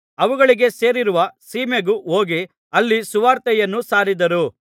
ಅವುಗಳಿಗೆ ಸೇರಿರುವ ಸೀಮೆಗೂ ಹೋಗಿ ಅಲ್ಲಿ ಸುವಾರ್ತೆಯನ್ನು ಸಾರಿದರು